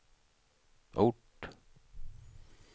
ort